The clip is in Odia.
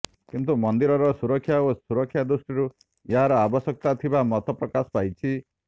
କିନ୍ତୁ ମନ୍ଦିରର ସୁରକ୍ଷା ଓ ସୁରକ୍ଷା ଦୃଷ୍ଟିରୁ ଏହାର ଆବଶ୍ୟକତା ଥିବା ମତ ପ୍ରକାଶ ପାଇଛି